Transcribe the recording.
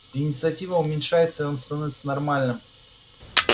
инициатива уменьшается и он становится нормальным